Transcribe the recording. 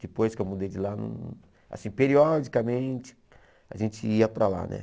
Depois que eu mudei de lá, assim, periodicamente, a gente ia para lá, né?